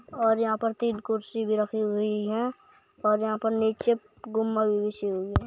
और यहाँ पर तीन कुर्सी भी रखी हुई हैं और यहाँ पर नीचे गुम्मा भी बिछी हुई है।